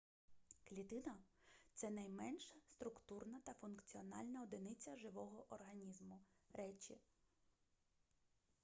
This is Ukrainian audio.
клітина — це найменша структурна та функціональна одиниця живого організму речі